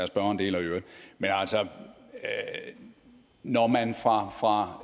spørgeren deler i øvrigt men altså når man fra